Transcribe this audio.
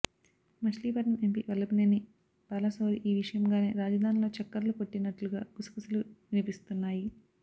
Machilipatnam MP Vallabhaneni Balashowry ఈ విషయంగానే రాజధానిలో చక్కర్లు కొట్టినట్లుగా గుసగుసలు వినిపిస్తున్నాయి